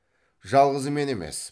жалғыз мен емес